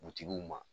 ma